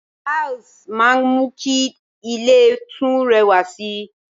Tiles máa ń mú kí ilè tún rẹwà sì